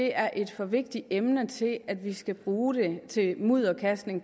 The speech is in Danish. er et for vigtigt emne til at vi skal bruge det til mudderkastning